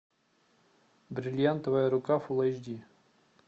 бриллиантовая рука фулл эйч ди